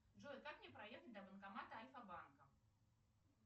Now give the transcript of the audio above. джой как мне проехать до банкомата альфа банка